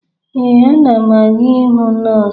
Ee, ana m aga ịhụ nọọsụ